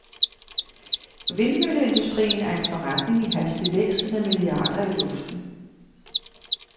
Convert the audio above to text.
Vindmølleindustrien er en forretning i hastig vækst med milliarder i luften.